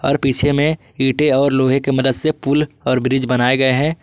पीछे में ईंटें और लोहे के मदद से पूल और ब्रिज बनाए गए हैं।